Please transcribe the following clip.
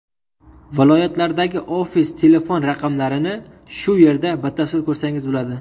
Viloyatlardagi ofis telefon raqamlarini shu yerda batafsil ko‘rsangiz bo‘ladi.